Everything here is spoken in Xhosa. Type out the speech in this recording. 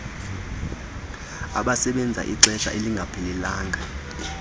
abasebenza ixesha elingaphelelanga